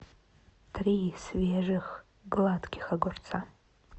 три свежих гладких огурца